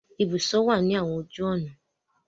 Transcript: Ibùsọ̀ wà ní àwọn ojú ọ̀nà.